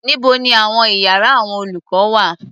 Níbo ni àwọn iyàrá àwọn olùkọ́ wà?